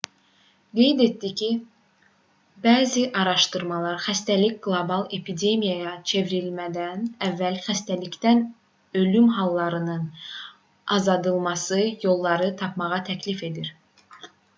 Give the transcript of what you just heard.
qeyd etdi ki bəzi araşdımalar xəstəlik qlobal epidemiyaya çevrilmədən əvvəl xəstəlikdən ölüm hallarının azaldılması yollarını tapmağı təklif edir